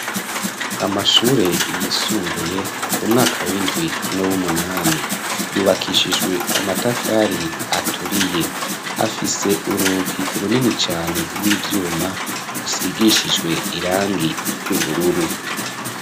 Amashure yisumbuye, umwaka w'indwi, n' w'umunani; yubakishijwe amatafari aturiye, afise urugi runini cane, rw'ivyuma, rusigishijwe irangi ry'ubururu.